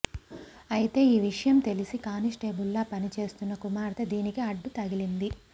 అయితే ఈ విషయం తెలిసి కానిస్టేబుల్గా పనిచేస్తున్న కుమార్తె దీనికి అడ్డు తగిలింది